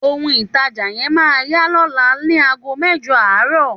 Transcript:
Òun taja yẹn má yà lọla ni àgó mẹ́jọ arọ.